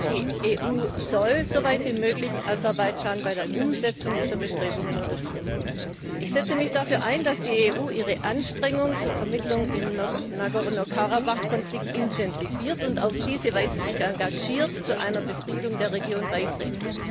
Die EU soll soweit wie möglich Aserbaidschan bei der Umsetzung dieser Bestrebungen unterstützen. Ich setze mich dafür ein, dass die EU ihre Anstrengungen zur Vermittlung im Nagorny Karabach Konflikt intensiviert und auf diese Weise sich engagiert und zu einer Befriedung der Region beiträgt.